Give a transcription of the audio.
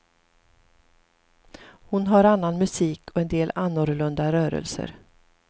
Hon har annan musik och en del annorlunda rörelser.